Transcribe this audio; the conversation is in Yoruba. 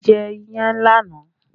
A jẹ iyán lánàá